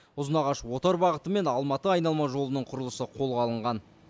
ұзынағаш отар бағыты мен алматы айналма жолының құрылысы да қолға алынған